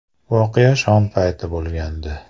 Voqea shom payti bo‘lgandi.